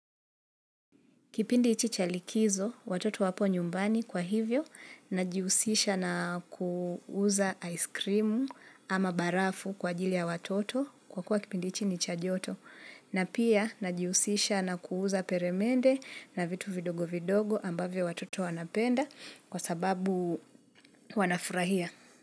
Kipindi hichi chalikizo, watoto wapo nyumbani kwa hivyo, najihusisha na kuuza ice cream. Ama barafu kwa ajili ya watoto kwakua kipindi hichi ni cha joto, na pia najihusisha na kuuza peremende na vitu vidogo vidogo ambavyo watoto wanapenda kwa sababu wanafurahia.